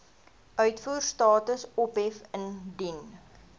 uitvoerstatus ophef indien